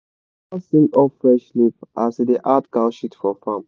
my papa sing of fresh leaf as he da add cow shit for farm